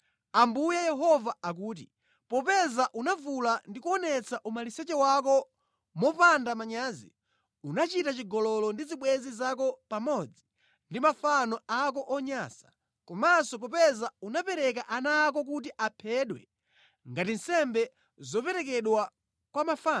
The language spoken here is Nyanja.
Ambuye Yehova akuti, popeza unavula ndi kuonetsa umaliseche wako mopanda manyazi, unachita chigololo ndi zibwenzi zako pamodzi ndi mafano ako onyansa, komanso popeza unapereka ana ako kuti aphedwe ngati nsembe zoperekedwa kwa mafano,